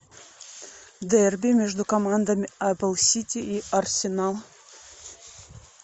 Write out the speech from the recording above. дерби между командами апл сити и арсенал